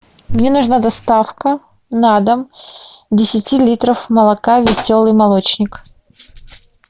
мне нужна доставка на дом десяти литров молока веселый молочник